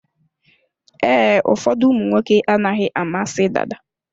Ee, ụfọdụ ụmụnwoke anaghị amasị dada.